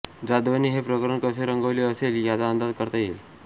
जाधवांनी हे प्रकरण कसे रंगवले असेल याचा अंदाज करता येईल